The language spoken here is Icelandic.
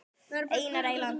Einar Eyland.